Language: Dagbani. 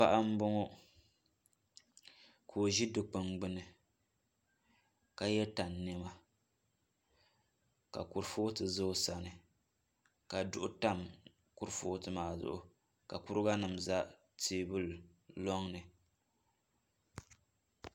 Paɣa n boŋo ka o ʒi dikpuni gbuni ka yɛ tani niɛma ka kurifooti ʒɛ o sani ka duɣu tam kuripooti maa zuɣu ka kuriga nim ʒɛ teebuli loŋni